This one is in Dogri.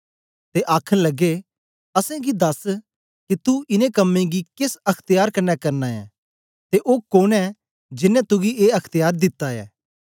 ते आखन लगे असेंगी दस के तू इनें कम्में गी केस अख्त्यार कन्ने करना ऐं ते ओ कोन ऐ जेनें तुगी ए अख्त्यार दिता ऐ